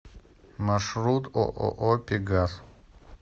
маршрут ооо пегас